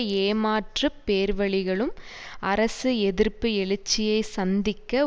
ஏமாற்றுப் பேர்வழிகளும் அரசு எதிர்ப்பு எழுச்சியைச் சந்திக்க